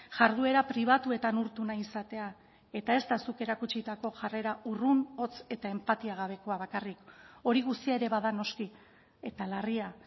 jarduera pribatuetan urtu nahi izatea eta ez da zuk erakutsitako jarrera urrun hots eta enpatia gabekoa bakarrik hori guztia ere bada noski eta larria